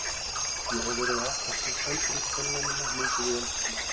Ég hef verið að elta Söndru konuna mína mikið í eldhúsinu.